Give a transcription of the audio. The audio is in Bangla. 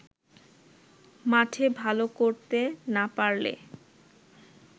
মাঠে ভালো করতে না পারলে